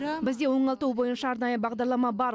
бізде оңалту бойынша арнайы бағдарлама бар